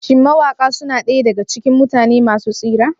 Shin mawaƙa suna ɗaya daga cikin mutane masu tasiri?